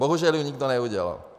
Bohužel ji nikdo neudělal.